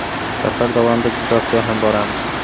Safar davomida Jizzaxga ham boramiz.